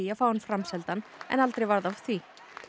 að fá hann framseldan en aldrei varð af því